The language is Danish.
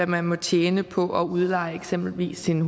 man må tjene på at udleje eksempelvis sin